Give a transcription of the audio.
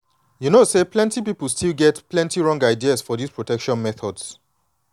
you know say plenty people still get plenty wrong ideas for this protection methods.